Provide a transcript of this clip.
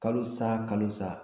Kalo sa kalo sa